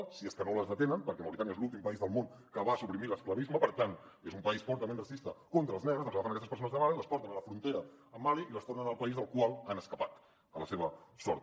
si és que no les detenen perquè mauritània és l’últim país del món que va suprimir l’esclavisme per tant és un país fortament racista contra els negres doncs agafen aquestes persones de mali i les porten a la frontera amb mali i les tornen al país del qual han escapat a la seva sort